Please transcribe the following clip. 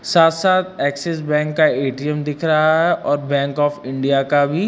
साथ साथ Axis bank का ए_टी_एम दिख रहा है और बैंक ऑफ़ इंडिया का भी।